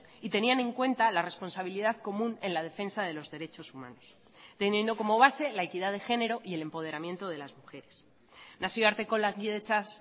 y tenían en cuenta la responsabilidad común en la defensa de los derechos humanos teniendo como base la equidad de género y el empoderamiento de las mujeres nazioarteko lankidetzaz